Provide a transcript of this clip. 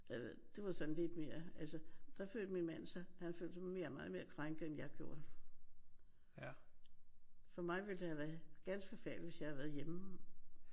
Jeg ved det var sådan lidt mere altså der følte min mand sig han følte sig mere meget mere krænket end jeg gjorde. For mig det ville det have været ganske forfærdeligt hvis jeg havde været hjemme